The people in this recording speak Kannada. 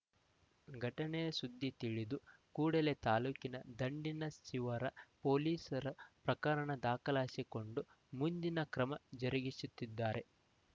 ಘಟನೆ ಸುದ್ದಿ ತಿಳಿದ ಕೂಡಲೇ ತಾಲ್ಲೂಕಿನ ದಂಡಿನಶಿವರ ಪೊಲೀಸರು ಪ್ರಕರಣ ದಾಖಲಿಸಿಕೊಂಡು ಮುಂದಿನ ಕ್ರಮ ಜರುಗಿಸುತ್ತಿದ್ದಾರೆ